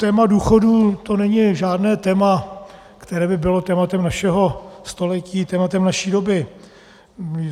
Téma důchodů, to není žádné téma, které by bylo tématem našeho století, tématem naší doby.